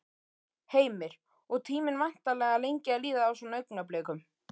Heimir: Og tíminn væntanlega lengi að líða á svona augnablikum?